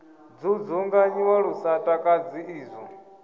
dzudzunganyiwa lu sa takadzi izwo